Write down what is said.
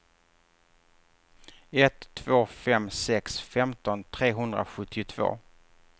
ett två fem sex femton trehundrasjuttiotvå